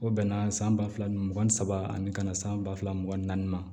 O bɛnna san ba fila mugan ni saba ani ka na san ba fila mugan ni naani ma